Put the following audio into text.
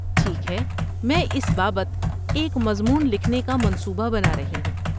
ٹھیک ہے، میں اس بابت ایک مضمون لکھنے کا منصوبہ بنا رہی ہوں۔